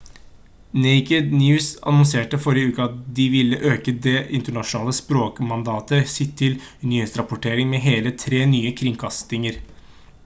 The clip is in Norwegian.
naked news annonserte forrige uke at de ville øke det internasjonale språkmandatet sitt til nyhetsrapportering med hele tre nye kringkastinger